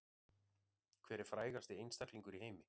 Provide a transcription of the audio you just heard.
Hver er frægasti einstaklingur í heimi